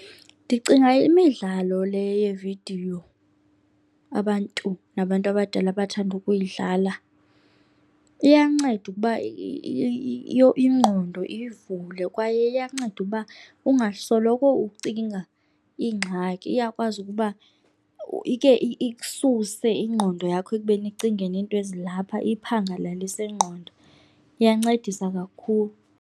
Ndicinga imidlalo le yeevidiyo abantu nabantu abadala abathanda ukuyidlala iyanceda ukuba ingqondo iyivule kwaye iyanceda uba ungasoloko ucinga iingxaki. Iyakwazi ukuba ike ikususe ingqondo yakho ekubeni icinge ngento ezilapha iyiphangalalise ingqondo, iyancedisa kakhulu.